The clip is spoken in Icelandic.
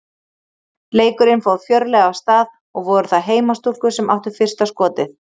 Leikurinn fór fjörlega af stað og voru það heimastúlkur sem áttu fyrsta skotið.